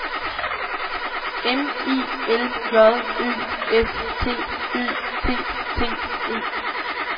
M I L J Ø S T Ø T T E